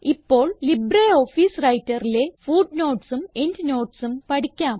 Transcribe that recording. ഇപ്പോൾ ലിബ്രിയോഫീസ് Writerലെ footnotesഉം endnotesഉം പഠിക്കാം